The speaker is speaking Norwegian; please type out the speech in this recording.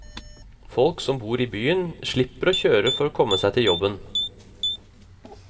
Folk som bor i byen, slipper å kjøre bil for å komme seg til jobben.